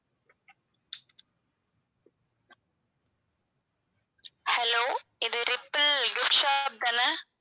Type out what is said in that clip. hello இது Ripple gift shop தான